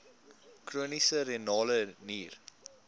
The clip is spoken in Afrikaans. chroniese renale nier